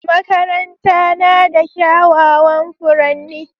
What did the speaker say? Makaranta na da kyawawan furanni